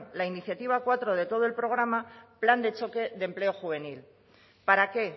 la iniciativa cuatro de todo el programa plan de choque de empleo juvenil para qué